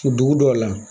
Dugu dɔw la